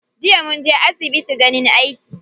Jiya munje asbitin ganin aiki.